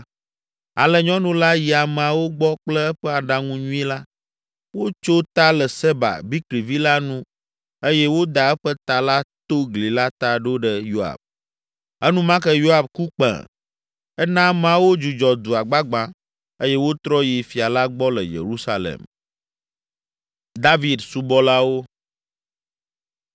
Ale nyɔnu la yi ameawo gbɔ kple eƒe aɖaŋu nyui la. Wotso ta le Seba, Bikri vi la nu eye woda eƒe ta la to gli la ta ɖo ɖe Yoab. Enumake Yoab ku kpẽ; ena ameawo dzudzɔ dua gbagbã eye wotrɔ yi fia la gbɔ le Yerusalem.